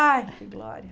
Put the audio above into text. Ai, que glória.